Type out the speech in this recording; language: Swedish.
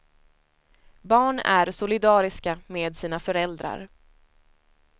Barn är solidariska med sina föräldrar.